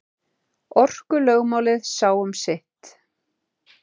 Orkulögmálið sá um sitt.